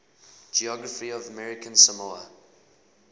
geography of american samoa